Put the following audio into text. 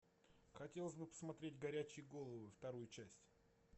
хотелось бы посмотреть горячие головы вторую часть